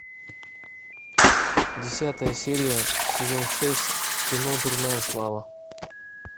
десятая серия сезон шесть кино дурная слава